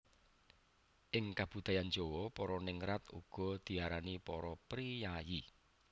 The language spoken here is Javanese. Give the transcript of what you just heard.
Ing kabudayan Jawa para ningrat uga diarani para priyayi